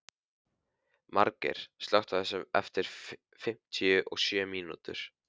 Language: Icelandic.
Margeir, slökktu á þessu eftir fimmtíu og sjö mínútur.